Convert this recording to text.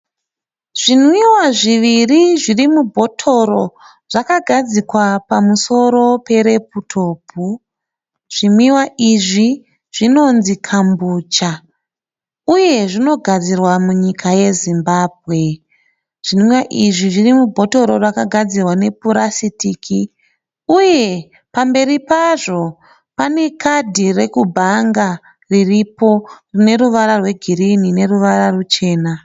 Zvinwiwa zviviri zviri mubhotoro zvakagadzikwa pamusoro pereputopu. Zvinwiwa izvi zvinonzi Kambucha uye zvinogadzirwa munyika yeZimbabwe. Zvinwiwa izvi zviri mubhotoro rakagadzirwa nepurasitiki uye pamberi pazvo pane kadhi rekubhanga ririrpo rine ruvara rwegirini neruvara ruchena.